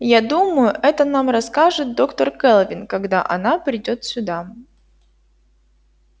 я думаю это нам расскажет доктор кэлвин когда она придёт сюда